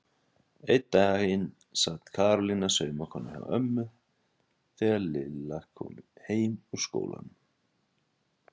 Einn daginn sat Karólína saumakona hjá ömmu þegar Lilla kom heim úr skólanum.